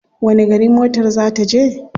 Wani gari motar ta za je?